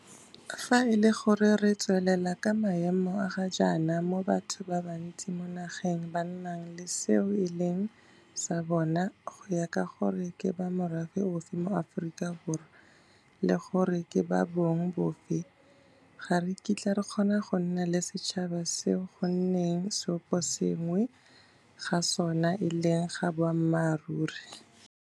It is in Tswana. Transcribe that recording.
Fa e le gore re tswelela ka maemo a ga jaana moo batho ba bantsi mo nageng ba nnang le seo e leng sa bona go ya ka gore ke ba morafe ofe mo Aforika Borwa le gore ke ba bong bofe, ga re kitla re kgona go nna le setšhaba seo go nneng seoposengwe ga sona e leng ga boammaruri.